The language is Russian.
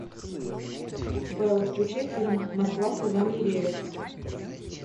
белла включи фильм москва слезам не верит